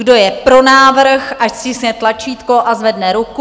Kdo je pro návrh, ať stiskne tlačítko a zvedne ruku.